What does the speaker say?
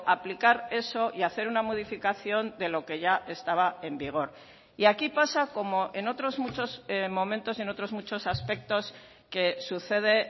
aplicar eso y hacer una modificación de lo que ya estaba en vigor y aquí pasa como en otros muchos momentos y en otros muchos aspectos que sucede